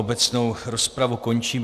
Obecnou rozpravu končím.